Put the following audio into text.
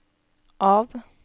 av